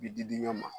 Bi di di ɲɔgɔn ma